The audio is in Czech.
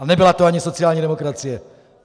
A nebyla to ani sociální demokracie.